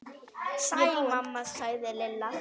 Sæl mamma sagði Lilla.